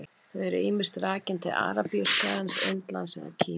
Þau eru ýmist rakin til Arabíuskagans, Indlands eða Kína.